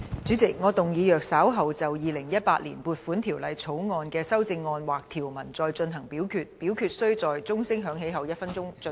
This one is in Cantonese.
主席，我動議若稍後就《2018年撥款條例草案》的條文或其修正案再進行點名表決，表決須在鐘聲響起1分鐘後進行。